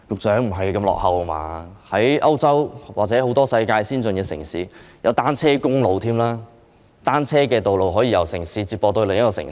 在歐洲或世界很多先進城市，已設有單車公路，單車道路可以由一個城市接駁至另一個城市。